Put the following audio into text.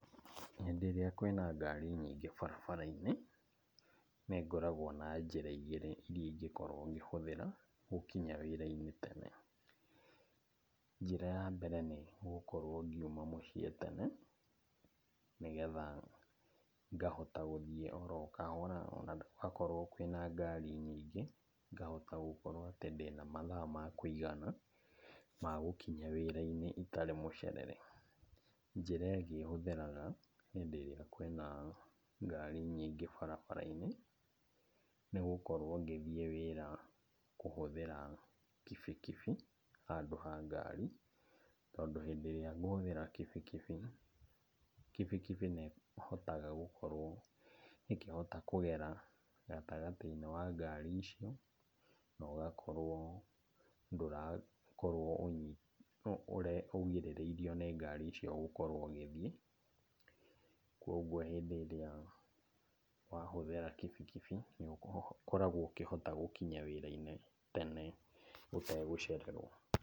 Hĩndĩ ĩrĩa kwĩna ngari nyingĩ barabara-inĩ, nĩ ngoragwo na njĩra igĩrĩ iria ingĩkorwo ngĩhũthĩra gũkinya wĩra-inĩ tene. Njĩra ya mbere nĩ gũkorwo ngiuma mũciĩ tene nĩgetha ngahota gũthiĩ oro kahora ona gwakorwo kwĩna ngari nyingĩ ngahota gũkorwo atĩ ndĩna mathaa ma kũigana ma gũkinya wĩra-inĩ itarĩ mũcerere. Njĩra ĩngĩ hũthĩraga hĩndĩ ĩrĩa kwĩna ngari nyingĩ barabara-inĩ, nĩgũkorwo ngĩthiĩ wĩra kũhũthĩra kibikibi handũ ha ngari. Tondũ hĩndĩ ĩrĩa ngũhũthĩra kibikibi, kibikibi nĩ ĩhotaga gũkorwo ĩkĩhota kũgera gatagatĩ-inĩ wa ngari icio na ũgakorwo ndũrakorwo ũgirĩrĩirio nĩ ngari icio gũkorwo ũgĩthiĩ. Koguo hĩndĩ ĩrĩa wahũthĩra kibikibi nĩ ũkoragwo ũkĩhota gũkinya wĩra-inĩ tene ũtegũcererwo.